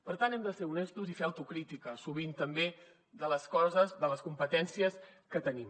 per tant hem de ser honestos i fer autocrítica sovint també de les coses de les competències que tenim